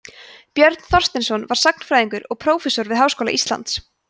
björn þorsteinsson var sagnfræðingur og prófessor við háskóla íslands